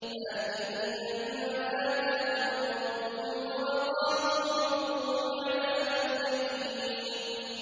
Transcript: فَاكِهِينَ بِمَا آتَاهُمْ رَبُّهُمْ وَوَقَاهُمْ رَبُّهُمْ عَذَابَ الْجَحِيمِ